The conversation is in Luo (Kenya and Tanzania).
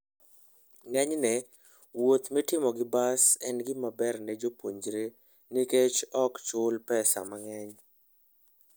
Ng'enyne, wuoth mitimo gi bas en gima ber ne jopuonjre nikech ok chul pesa mang'eny.